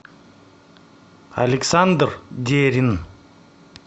александр дерин